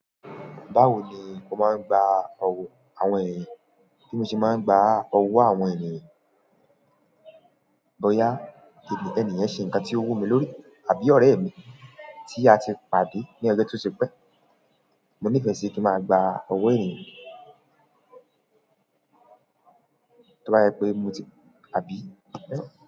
Báwo ni mo máa ń gba ọ̀wọ́ àwọn ènìyàn? Bí mo ṣe máa ń gba ọ̀wọ́ àwọn ènìyàn. Bọyà ẹni yẹn ṣe nǹkan tí ó wù mí lórí. Àbí ọ̀rẹ́ mi tí a ti pàdé ní ọjọ tó ti pẹ́, mo nífẹẹ sí kí n máa ba ọ̀wọ́ ènìyàn. Tí mo bá rí pé mo ti àbí.